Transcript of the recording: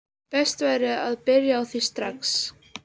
Best væri að byrja á því strax.